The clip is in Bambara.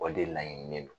O de laɲininen don